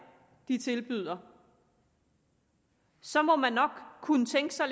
tilbyder så må man nok kunne tænke sig